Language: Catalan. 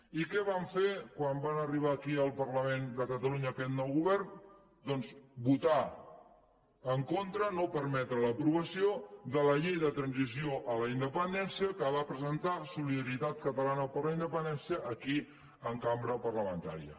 i què van fer quan van arribar aquí al parlament de catalunya aquest nou govern doncs votar en contra no permetre l’aprovació de la llei de transició a la independència que va presentar solidaritat catalana per la independència aquí en cambra parlamentària